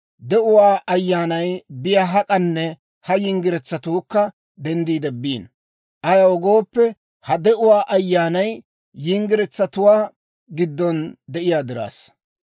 De'uwaa Ayyaanay biyaa hak'anne ha yinggiretsatuukka denddiide biino; ayaw gooppe, ha de'uwaa ayyaanay yinggiretsatuwaa giddon de'iyaa diraassa.